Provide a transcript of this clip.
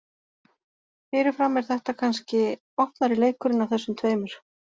Fyrirfram er þetta kannski opnari leikurinn af þessum tveimur.